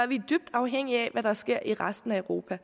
vi dybt afhængige af hvad der sker i resten af europa og